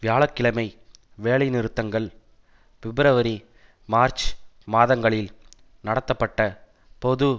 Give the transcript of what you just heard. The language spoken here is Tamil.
வியாழ கிழமை வேலைநிறுத்தங்கள் பிப்ரவரி மார்ச் மாதங்களில் நடத்தப்பட்ட பொது